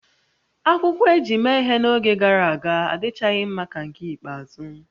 Akwụkwọ e ji mee ihe n'oge gara aga adịchaghị mma ka nke ikpeazụ